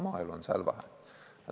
Maaelu on seal vähe.